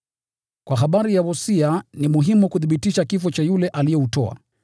Kwa habari ya wosia, ni muhimu kuthibitisha kifo cha yule aliyeutoa,